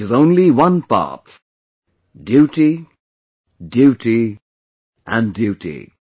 which has only one path duty, duty and duty